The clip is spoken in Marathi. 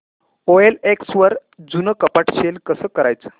ओएलएक्स वर जुनं कपाट सेल कसं करायचं